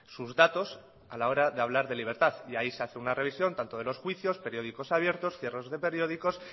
sus datos a la hora de hablar de libertad y ahí se hace una revisión tanto de los juicios periódicos abiertos cierros de periódicos